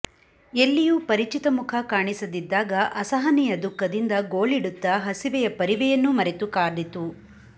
ಎಲ್ಲಿಯೂ ಪರಿಚಿತ ಮುಖ ಕಾಣಿಸದಿದ್ದಾಗ ಅಸಹನೀಯ ದುಃಖದಿಂದ ಗೋಳಿಡುತ್ತಾ ಹಸಿವೆಯ ಪರಿವೆಯನ್ನೂ ಮರೆತು ಕಾದಿತು